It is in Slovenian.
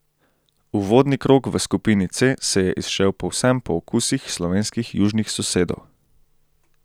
Uvodni krog v skupini C se je izšel povsem po okusih slovenskih južnih sosedov.